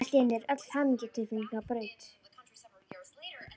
Allt í einu er öll hamingjutilfinning á braut.